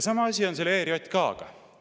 Sama asi on ERJK‑ga.